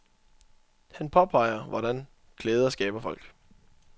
Han påpeger, hvordan klæder skaber folk.